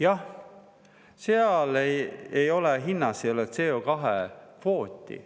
Jah, seal hinnas ei ole CO2-kvooti.